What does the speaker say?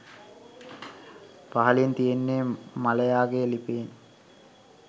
පහලින් තියෙන්නේ මලයාගේ ලිපියෙන්